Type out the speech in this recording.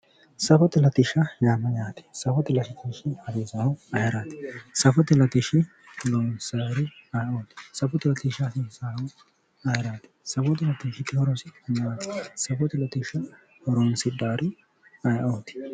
Safote latishsha yaa mayate, safote latishshi hasiisanohu ayeerati, safote latishsha loosanori ayeeoti, safote latishshi hasiisanohu ayeerati, safote latishshi horo maati, safote latishsha horonsidhannori ayeeoti ?